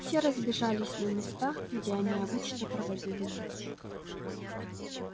все разбежались на места где они обычно проводили ночь